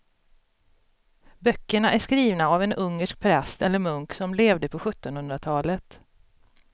Böckerna är skrivna av en ungersk präst eller munk som levde på sjuttonhundratalet.